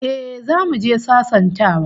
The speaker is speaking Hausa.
Eh, zamu je sasantawa